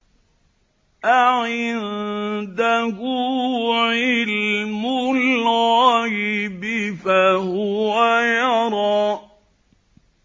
أَعِندَهُ عِلْمُ الْغَيْبِ فَهُوَ يَرَىٰ